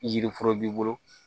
Yiriforo b'i bolo